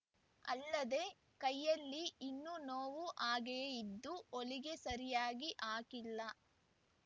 ಅಲ್ಲದೆ ಕೈಯಲ್ಲಿ ಇನ್ನೂ ನೋವು ಹಾಗೆಯೇ ಇದ್ದು ಹೊಲಿಗೆ ಸರಿಯಾಗಿ ಹಾಕಿಲ್ಲ